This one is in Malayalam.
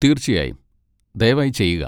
തീർച്ചയായും. ദയവായി ചെയ്യുക!